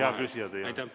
Hea küsija, teie aeg!